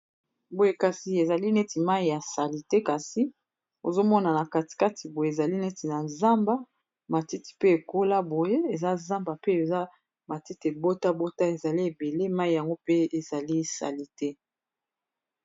boye kasi ezali neti mai ya sali te kasi ozomonana katikati boye ezali neti na zamba matiti pe ekola boye eza zamba pe eza matiti ebota bota ezali ebele mai yango pe ezali sali te